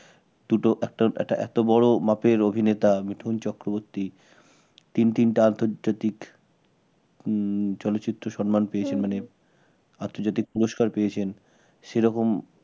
দুটো একটা একটা এত বড় মাপের অভিনেতা মিঠুন চক্রবর্তী তিন তিনটা আন্তর্জাতিক উম চলচ্চিত্র সম্মান পেয়েছেন আন্তর্জাতিক পুরস্কার পেয়েছেন সেরকম